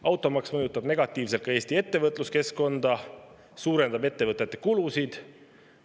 Automaks mõjutab negatiivselt ka Eesti ettevõtluskeskkonda, see suurendab ettevõtete kulusid.